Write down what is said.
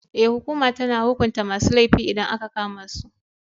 Ee, hukuma tana hukunta masu laifi idan aka kama su.